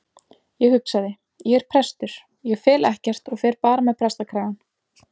Ég hugsaði: Ég er prestur, ég fel ekkert og fer bara með prestakragann.